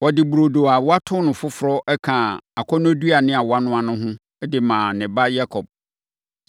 Ɔde burodo a wato no foforɔ kaa akɔnnɔduane a wanoa no ho, de maa ne ba Yakob.